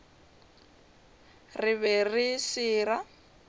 re be re se ra